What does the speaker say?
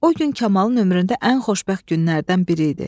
O gün Kamalın ömründə ən xoşbəxt günlərdən biri idi.